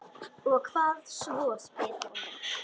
Og hvað svo, spyr hún.